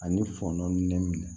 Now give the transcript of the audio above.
Ani fɔnɔ ne minɛ